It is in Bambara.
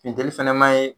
Funteni fɛnɛ ma ye